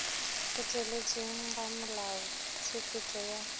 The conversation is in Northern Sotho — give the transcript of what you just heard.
go tšweletšeng ga melaotshepetšo ya